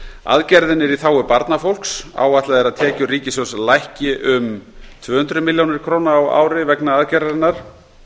aðgerðin er í þágu barnafólks áætlað er að tekjur ríkissjóðs lækki um tvö hundruð milljóna króna á ári vegna aðgerðarinnar